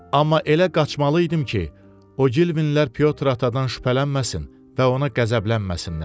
Amma elə qaçmalı idim ki, Ogilvilər Pyotr Atadan şübhələnməsin və ona qəzəblənməsinlər.